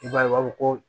I b'a ye u b'a fɔ ko